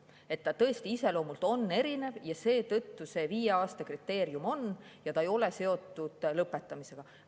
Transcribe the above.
See on tõesti iseloomult erinev ja seetõttu on see viie aasta kriteerium ja see ei ole seotud lõpetamisega.